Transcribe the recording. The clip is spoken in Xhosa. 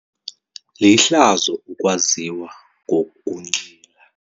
Lihlazo ukwaziwa ngokunxila.